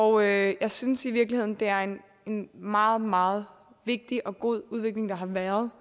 og jeg jeg synes i virkeligheden det er en meget meget vigtig og god udvikling der har været